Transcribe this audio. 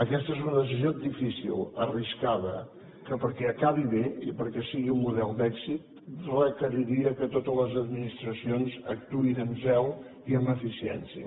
aquesta és una decisió difícil arriscada que perquè acabi bé i perquè sigui un model d’èxit requeriria que totes les administracions actuessin amb zel i amb eficiència